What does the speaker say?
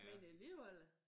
Men alligevel